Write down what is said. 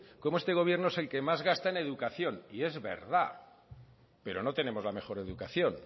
cómo este gobierno es el que más gasta en educación y es verdad pero no tenemos la mejor educación